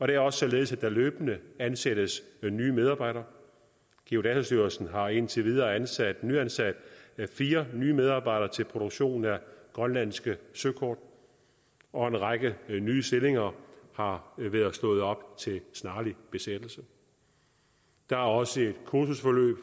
det er også således at der løbende ansættes nye medarbejdere geodatastyrelsen har indtil videre ansat ansat fire nye medarbejdere til produktion af grønlandske søkort og en række nye stillinger har været slået op til en snarlig besættelse der er også et kursusforløb